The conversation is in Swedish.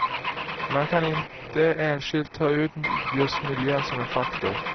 Man kan inte enskilt ta ut just miljön som en faktor.